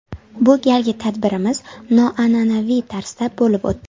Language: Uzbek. Bu galgi tadbirimiz noan’anaviy tarzda bo‘lib o‘tdi.